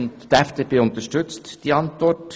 Die FDP unterstützt die Antwort.